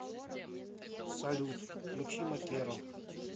салют включи макеро